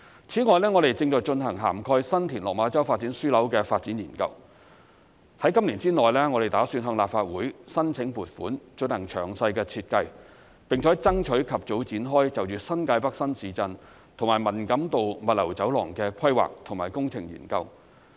此外，我們正在進行涵蓋新田/落馬洲發展樞紐的發展研究，打算在今年之內向立法會申請撥款進行詳細的設計，並且爭取及早展開就着新界北新市鎮和文錦渡物流走廊的規劃及工程研究。